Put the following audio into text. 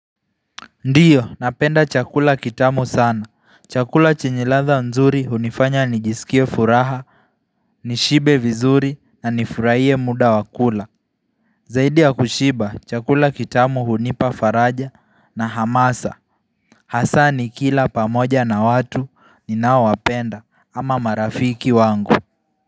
Ndio, napenda chakula kitamu sana. Chakula chenye ladha nzuri hunifanya nijiskie furaha, nishibe vizuri na nifurahie muda wa kula. Zaidi ya kushiba, chakula kitamu hunipafaraja na hamasa. Hasa nikila pamoja na watu ninaowapenda ama marafiki wangu.